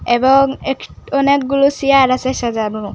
এবং একট অনেকগুলো চেয়ার আসে সাজানো।